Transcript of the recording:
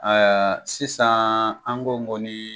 sisan an ko ŋoni.